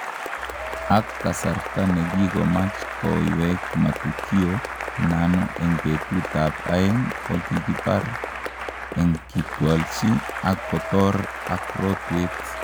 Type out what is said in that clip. Ak kasarta nekikomach koywek matukio inano en petut ap aeg, ko kipar en kitwalchi ak kotor ak rotwet